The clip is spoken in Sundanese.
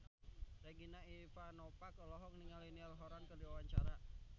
Regina Ivanova olohok ningali Niall Horran keur diwawancara